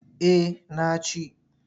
Eh na ci.